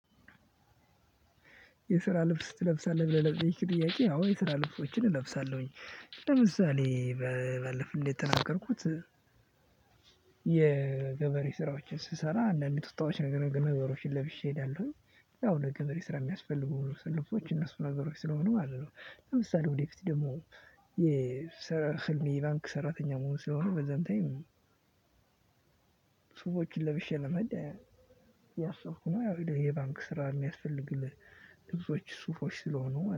የስራ ልብስ ትለብሳለህ ብለህ ለጠየከኝ ጥያቄ አዎ የስራ ልብሶችን እለብሳለሁኝ ለምሳሌ ባለፈው እንዴት ተናገርኩት የገበሬ ስራዎችን ስሰራ አንዳንድ ቱታዎችን ነገሮችን ለብሼ እሄዳለሁኝ። ያው ለገበሬ ስራ የሚያስፈልጉ ሁሉ ሰለፎች እነሱ ነገሮች ስለሆኑ ማለት ነው ለምሳሌ ወደፊት ደግሞ የሰራ ህልሜ ባንክ ሰራተኛ መሆን ስለሆነ በዛም ታይም ነው ሰዎችን ለበሼ ለመሄድ እያሰብኩ ነው። ያው የባንክ ስራ የሚያስፈልግህ ልብሶች ሱፎች ስለሆኑ